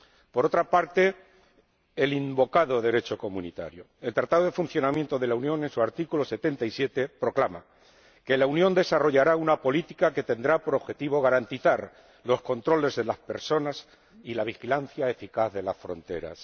Por otra parte, el invocado Derecho comunitario el Tratado de Funcionamiento de la Unión, en su artículo 77, proclama que la Unión desarrollará una política que tendrá por objetivo garantizar los controles de las personas y la vigilancia eficaz de las fronteras.